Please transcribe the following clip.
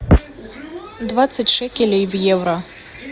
двадцать шекелей в евро